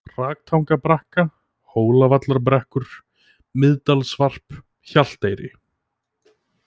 Hraktangabrekka, Hólavallarbrekkur, Miðdalsvarp, Hjalteyri